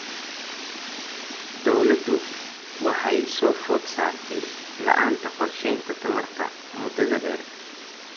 Dawladdu waxa ay soo food saartay la'aanta qorshaynta tamarta muddada dheer.